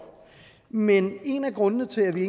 men en af grundene til at vi